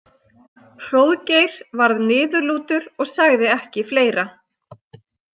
Hróðgeir varð niðurlútur og sagði ekki fleira.